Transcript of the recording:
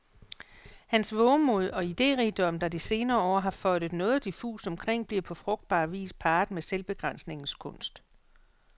Hans vovemod og iderigdom, der de senere år har føjtet noget diffust omkring, bliver på frugtbar vis parret med selvbegrænsningens kunst.